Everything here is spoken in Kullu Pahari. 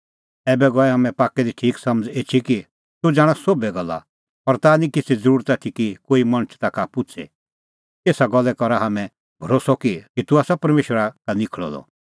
ऐबै गई हाम्हां पाक्कै दी ठीक समझ़ एछी कि तूह ज़ाणा सोभै गल्ला और ताह निं किछ़ै ज़रुरत आथी कि कोई मणछ ताखा पुछ़े एसा गल्ला करै करा हाम्हैं भरोस्सअ कि तूह आसा परमेशरा का निखल़अ द